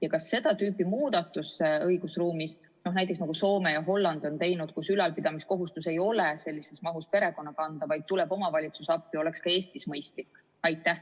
Ja kas seda tüüpi muudatus õigusruumis, nagu Soome ja Holland on teinud, kus ülalpidamiskohustus ei ole sellises mahus perekonna kanda, vaid omavalitsus tuleb appi, oleks ka Eestis mõistlik?